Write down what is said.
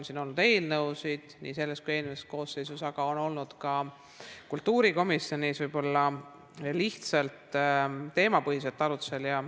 Siin on olnud eelnõusid nii selles kui ka eelmises koosseisus, aga on olnud ka kultuurikomisjonis lihtsalt teemapõhiseid arutlusi.